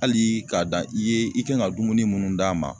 Hali k'a da i ye i kan ŋa dumuni munnu d'a ma